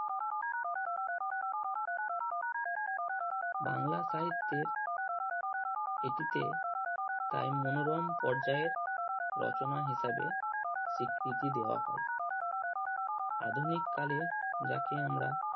বাংলা সাহিত্যের এটিতে তাই মনোরম পর্যায়ে রচনা হিসাবে স্বীকৃতি দেওয়া হয়। আধুনিক কালে যাকে আমরা